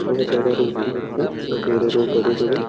बहुत ज्यादा रोड दिखत है छोटे वाला रोड बड़े वाला रोडो --